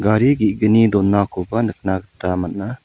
gari ge·gni donakoba nikna gita man·a.